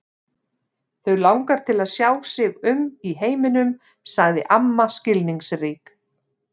Þau langar til að sjá sig um í heiminum sagði amma skilningsrík.